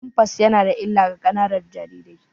Pampers yana da illa ga ƙananan jarirai.